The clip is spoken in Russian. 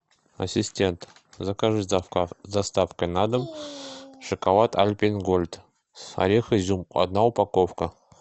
ассистент закажи с доставкой на дом шоколад альпен гольд с орех изюм одна упаковка